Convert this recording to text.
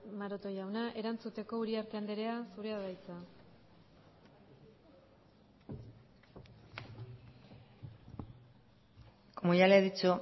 maroto jauna erantzuteko uriarte andrea zurea da hitza como ya le he dicho